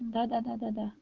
да да да да